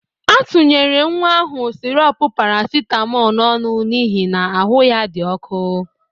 A tunyere nwa ahụ sịrọp parasitamọl n'ọnụ n'ihi na ahụ ya dị ọkụ.